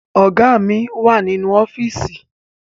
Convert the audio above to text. Ọ̀gá mi wà nínú ọ́fíìsì